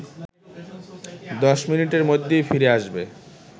১০ মিনিটের মধ্যেই ফিরে আসবে